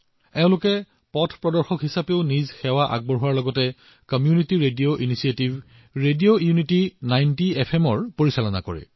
তেওঁলোকে গাইড হিচাপেও কাম কৰে লগতে community radio initiative radio unity ৯০ এফএমও পৰিচালনা কৰে